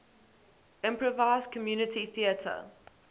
improvised community theatre